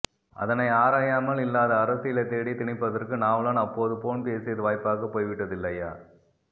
அதனை ஆராயாமல் இல்லாத அரசியலை தேடி திணிப்பதற்கு நாவலன் அப்போது போன் பேசியது வாய்ப்பாக போய்விட்டது இல்லையா